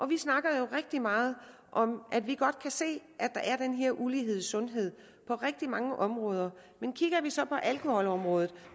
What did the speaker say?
vi snakker jo rigtig meget om at vi godt kan se at her ulighed i sundhed på rigtig mange områder men kigger vi så på alkoholområdet